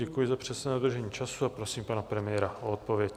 Děkuji za přesné dodržení času a prosím pana premiéra o odpověď.